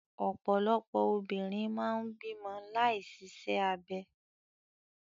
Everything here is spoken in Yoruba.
Ọ̀pọ̀lọpọ̀ obìnrin máa ń bímọ láì ṣiṣẹ́ abẹ.